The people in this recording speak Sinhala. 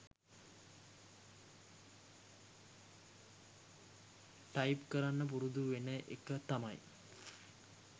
ටයිප් කරන්න පුරුදු වෙන එක තමයි